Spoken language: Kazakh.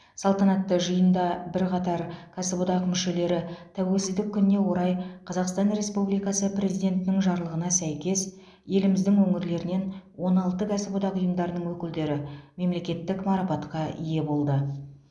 салтанатты жиында бірқатар кәсіподақ мүшелері тәуелсіздік күніне орай қазақстан республикасы президентінің жарлығына сәйкес еліміздің өңірлерінен он алты кәсіподақ ұйымдарының өкілдері мемлекеттік марапатқа ие болды